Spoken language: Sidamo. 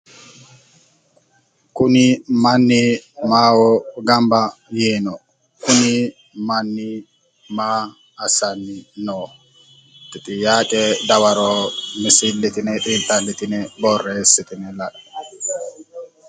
Kuni manni maaho gamba yiino? Kuni manni maa assanni no? Te xiyaaqe dawaro misillitine xiinxallitine borreessitine la'e.